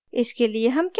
इसके लिए हम क्या कर सकते हैं